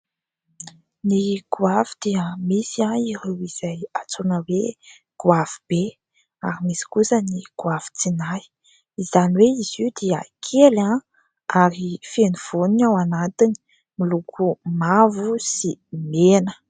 Ny goavy dia misy ireo izay antsoina hoe : "goavy be", ary misy kosa ny "goavitsinahy". Izany hoe, izy io dia kely ary feno voany ao anatiny miloko mavo sy mena.